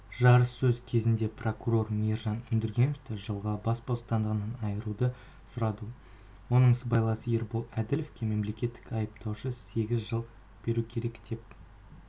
жарыссөз кезінде прокурор мейіржан өндіргеновті жылға бас бостандығынан айыруды сұрады оның сыбайласы ербол әділовке мемлекеттік айыптаушы сегіз жыл беру керек деп